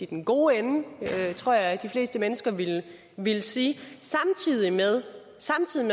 den gode ende tror jeg de fleste mennesker ville ville sige samtidig